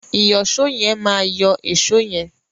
Ìyọ̀ṣó yẹn máa yọ́ èṣó yẹn.